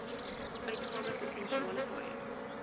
uitgawe provinsiale paaie